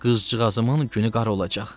Qızcığazımın günü qara olacaq.